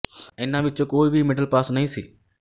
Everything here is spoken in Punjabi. ਇਨ੍ਹਾਂ ਵਿੱਚ ਕੋਈ ਵੀ ਮਿਡਲ ਪਾਸ ਨਹੀਂ ਸੀ